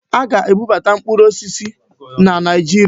Aga na-ebubata mkpụrụ osisi na Naịjirịa.